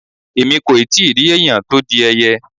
Èmi kò ì tí rí ẹ̀yàn tó di ẹyẹ.